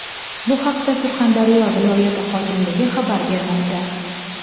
Bu haqda Surxondaryo viloyati hokimligi xabar bermoqda .